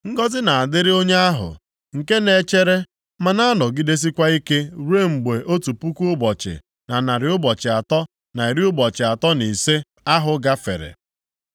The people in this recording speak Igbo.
Ngọzị ga-adịrị onye ahụ nke na-echere, ma nọgidesịkwa ike ruo mgbe otu puku ụbọchị, na narị ụbọchị atọ, na iri ụbọchị atọ na ise (1,335) ahụ gafere.